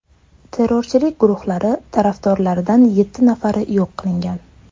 Terrorchilik guruhlari tarafdorlaridan yetti nafari yo‘q qilingan.